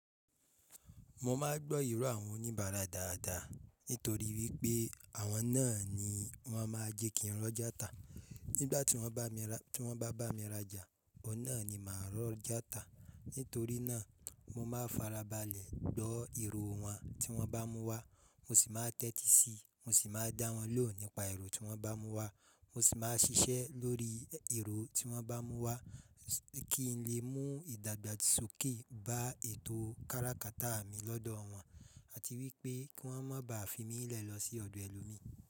Mo máa ń gbọ́ ìrò àwọn oníbàárà dáadáa, nítorí wípé àwọn náà ni wọ́n máa jẹ kí n rọ́ játa. Nígbà tí wọ́n bá, tí wọ́n bá bá mi raja, ọ̀un náà ni màá rọ́ játa. Nítorí náà mo máa farabalẹ̀ gbọ́ ìrò wọn tí wọ́n bá mú wá, mo sì máa tẹ́tí síi, mo sì máa dá wọn lóhùn nípa ìrò tí wọ́n bá mú wá, mo sì máa ṣiṣẹ́ lórí ìrò tí wọ́n bá mú wá kí n lè mú ìdàgbàsókè bá ètò káràkátà mi lọ́dọ̀ wọn àti wípé kí wọ́n má baà fi mí lẹ̀ lọ sí ọ̀dọ̀ ẹlòmíì.